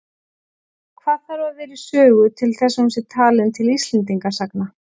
Hvað þarf að vera í sögu til þess að hún sé talin til Íslendingasagna?